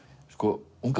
unga